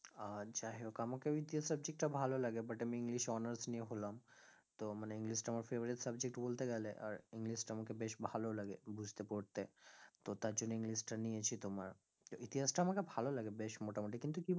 আহ যাইহোক, আমাকেও ইতিহাস subject টা ভালো লাগে but আমি english এ honours নিয়ে হলাম তো মানে english টা আমার favourite subject বলতে গেলে আর english টা আমাকে বেশ ভালো লাগে বুঝতে পড়তে তো তার জন্য english টা নিয়েছি তোমার ইতিহাস টা আমাকে ভালো লাগে বেশ মোটামুটি কিন্তু কি বল~